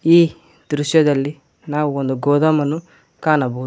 ಈ ದೃಶ್ಯದಲ್ಲಿ ನಾವು ಒಂದು ಗೋದಾಮನ್ನು ಕಾಣಬೋದ್--